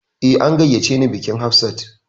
Eh, an gayyace ni bikin Hafsat